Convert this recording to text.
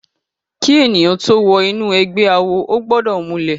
Ki èniyán tó wò inú ègbè àwó ógbòdò múlè